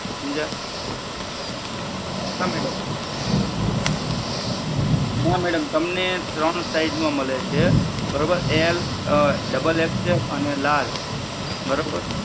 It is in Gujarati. સમજ્યા હા madam ના madam તમને ત્રણ size માં મળે છે બરોબર એલ ડબલ XL અને લાર્જ બરોબર.